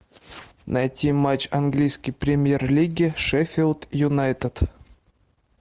найти матч английской премьер лиги шеффилд юнайтед